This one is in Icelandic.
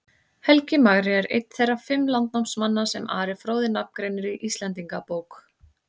Helgi magri er einn þeirra fimm landnámsmanna sem Ari fróði nafngreinir í Íslendingabók.